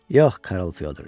Yox, Karl Fyodriç.